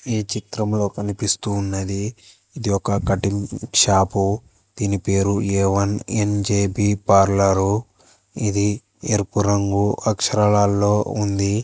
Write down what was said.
ఈ చిత్రంలో కనిపిస్తూ ఉన్నది ఇది ఒక కటింగ్ షాపు దీని పేరు ఏ వన్ యన్_జే_బి పార్లరు ఇది ఎరుపు రంగు అక్షరాలలో ఉంది.